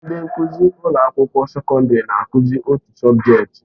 Ndị nkụzi na ụlọ akwụkwọ sekọndrị na-akụzi otu sọbjeti.